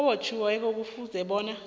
obotjhiweko kufuze bona